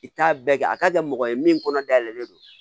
I t'a bɛɛ kɛ a ka kɛ mɔgɔ ye min kɔnɔ dayɛlɛlen don